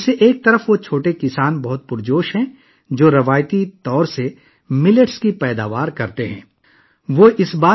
ایک طرف، چھوٹے کسان جو روایتی طور پر باجرا پیدا کرتے تھے، بہت پرجوش ہیں